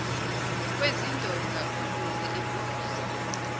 kwezindonga uzuze imbubhiso